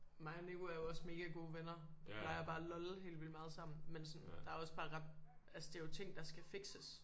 Mig og Nico er jo også mega gode venner plejer bare at lolle helt vildt meget sammen men sådan der er også bare ret altså det er jo ting der skal fikses